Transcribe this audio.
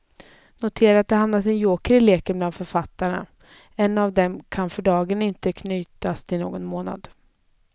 Notera att det hamnat en joker i leken bland författarna, en av dem kan för dagen inte knytas till någon månad.